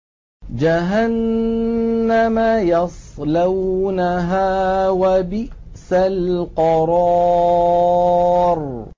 جَهَنَّمَ يَصْلَوْنَهَا ۖ وَبِئْسَ الْقَرَارُ